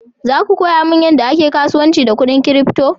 Za ku koya mani yadda ake kasuwanci da kudin crypto?